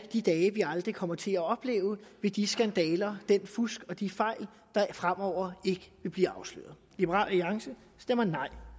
de dage vi aldrig kommer til at opleve med de skandaler den fusk og de fejl der fremover ikke vil blive afsløret liberal alliance stemmer nej